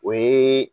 O ye